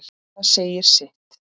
Það segir sitt.